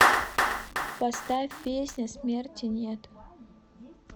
поставь песня смерти нет